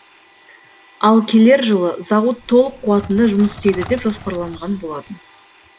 ал келер жылы зауыт толық қуатында жұмыс істейді деп жоспарланған болатын